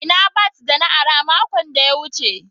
Ina bat da na ara makon da ya wuce.